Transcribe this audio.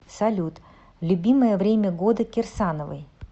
салют любимое время года кирсановой